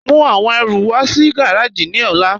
Mú awọn ẹ̀rù wà sí gàràjì ni ọ̀là.